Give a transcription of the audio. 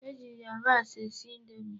E ji yabasị esi indomi.